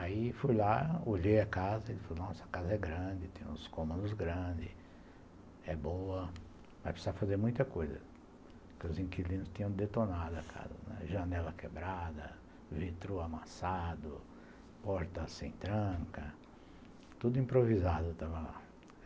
Aí fui lá, olhei a casa e falei, nossa, a casa é grande, tem uns comandos grandes, é boa, vai precisar fazer muita coisa, porque os inquilinos tinham detonado a casa, janela quebrada, vitro amassado, porta sem tranca, tudo improvisado estava lá.